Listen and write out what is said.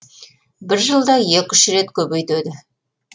бір жылда екі үш рет көбейтеді